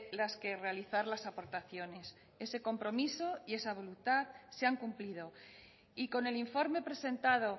las que realizar las aportaciones ese compromiso y esa voluntad se han cumplido y con el informe presentado